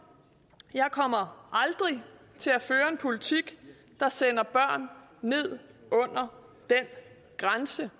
jeg kommer aldrig til at føre en politik der sender børn ned under den grænse